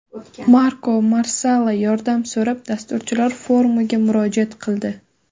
Marko Marsala yordam so‘rab, dasturchilar forumiga murojaat qildi.